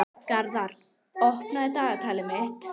Garðar, opnaðu dagatalið mitt.